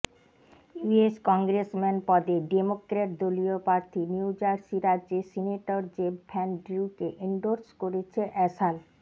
US congressman পদে Democrat দলীয় প্রার্থী নিউজারসি রাজ্যের সিনেটর জেফ ভ্যান ড্রিউকে এনডোর্স করেছে অ্যাসাল